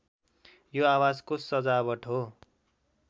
यो आवाजको सजावाट हो